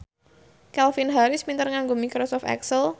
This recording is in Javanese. Calvin Harris pinter nganggo microsoft excel